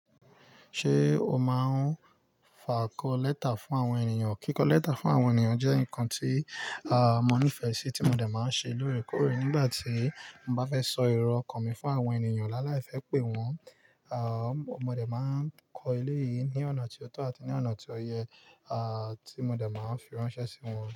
Ṣé o máa ń fàkọ́ lẹ́tà fún àwọn ènìyàn? Kíkọ lẹ́tà fún àwọn ènìyàn jẹ́ nǹkan tí à n mo nífẹ́ sì tí mo dẹ̀ máa ń ṣe lórèkórè. Nígbà tí mo bá fẹ́ sọ ero ọkàn mi fún àwọn ènìyàn láàláì fẹ́ pè wọ́n, à mo dẹ̀ máa ń kọ ilé yìí ní ọ̀nà tí ó tọ́ àti ní ọ̀nà tí ó yẹ, à tí mo dẹ̀ máa ń fi ránṣẹ́ sí wọ́n.